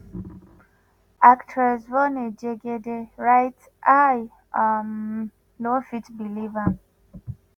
actress yvonne jegede write “i um no fit believe am.